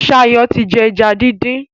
Shayo tí jé eja dín dín.